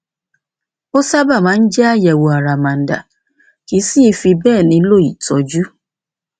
ó sábà máa ń jẹ àyẹwò àràmàǹdà kìí sì í fi bẹẹ nílò ìtọjú